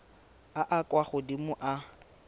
a a kwa godimo a